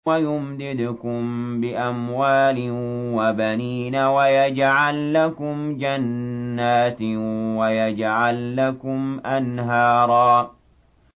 وَيُمْدِدْكُم بِأَمْوَالٍ وَبَنِينَ وَيَجْعَل لَّكُمْ جَنَّاتٍ وَيَجْعَل لَّكُمْ أَنْهَارًا